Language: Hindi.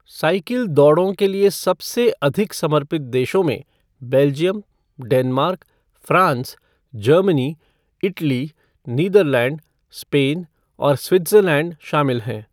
साइकिल दौड़ों के लिए सबसे अधिक समर्पित देशों में Belgium, Denmark, France, Germany, Italy, Netherland, Spain और स्विट्ज़रलैंड शामिल हैं।